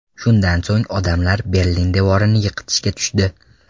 Shundan so‘ng odamlar Berlin devorini yiqitishga tushdi.